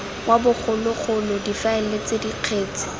wa bogologolo difaele ts kgetse